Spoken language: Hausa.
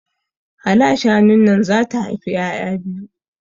Hala shanun nan zata haifi ƴaƴa biyu